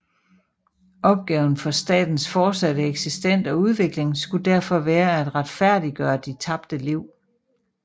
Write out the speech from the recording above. Opgaven for statens fortsatte eksistens og udvikling skulle derfor være at retfærdiggøre de tabte liv